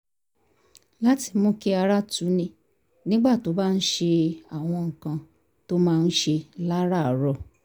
láti mú kí ara tuni nígbà tó bá ń ṣe àwọn nǹkan tó máa ń ṣe láràárọ̀